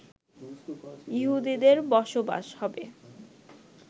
ইহুদিদের বসবাস হবে